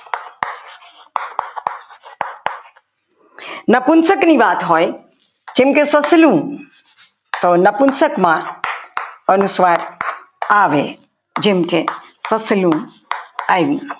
નપુંસક ની વાત હોય જેમકે સસલું તો નપુંસકમાં અનુસ્વાર આવે જેમકે સસલું આવ્યું.